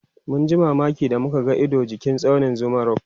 mun ji mamaki da muka ga Ido jikin tsaunin Zuma rock